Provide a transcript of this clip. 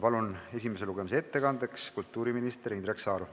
Palun esimese lugemise ettekandeks kõnepulti kultuuriminister Indrek Saare.